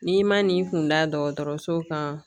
N'i ma n'i kun da dɔgɔtɔrɔso kan